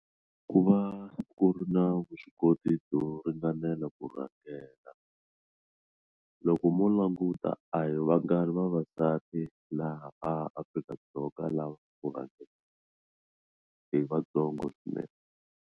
Ku va ku ri na vuswikoti byo ringanela ku rhangela loko mo languta a hi vangani vavasati laha Afrika-Dzonga lava i vantsongo swinene.